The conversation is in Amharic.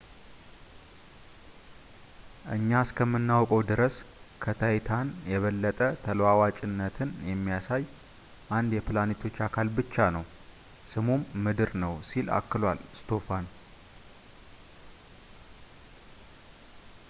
እኛ እስከምናውቀው ድረስ ከታይታን የበለጠ ተለዋዋጭነትን የሚያሳየው አንድ የፕላኔቶች አካል ብቻ ነው ስሙም ምድር ነው ሲል አክሏል ስቶፋን